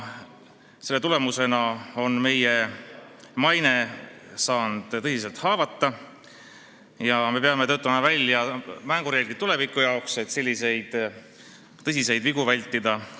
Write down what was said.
Seetõttu on meie maine saanud tõsiselt haavata ja me peame töötama välja mängureeglid, et tulevikus selliseid tõsiseid vigu vältida.